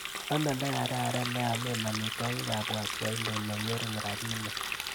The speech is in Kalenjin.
Ano lekararan leaame amitwogikap waswahili neng'ering rapinik.